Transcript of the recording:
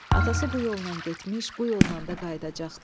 Atası bu yolla getmiş, bu yolla da qayıdacaqdı.